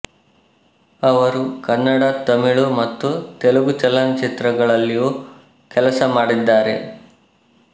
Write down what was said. ಅವರು ಕನ್ನಡ ತಮಿಳು ಮತ್ತು ತೆಲುಗು ಚಲನಚಿತ್ರಗಳಲ್ಲಿಯೂ ಕೆಲಸ ಮಾಡಿದ್ದಾರೆ